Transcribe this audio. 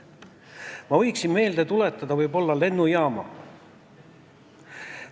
Ma võiksin sulle võib-olla lennujaama meelde tuletada.